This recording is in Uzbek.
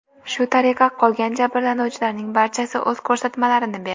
Shu tariqa, qolgan jabrlanuvchilarning barchasi o‘z ko‘rsatmalarini berdi.